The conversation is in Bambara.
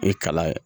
E kalan